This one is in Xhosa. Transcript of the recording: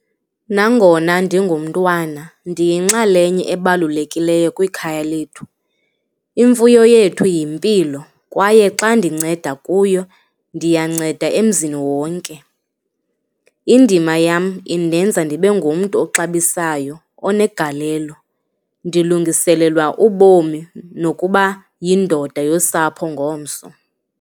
Nangona ndigumntwana ndiyinxalenye ebalulekileyo kwikhaya lethu. Imfuyo yethu yimpilo kwaye xa ndinceda kuyo, ndiyanceda emzini wonke. Indima yam indenza ndibe ngumntu oxabisayo, onegalelo, ndilungiselelwa ubomi nokuba yindoda yosapho ngomso.